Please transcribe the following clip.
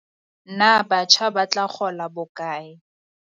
Na batjha ba tla kgola bokae?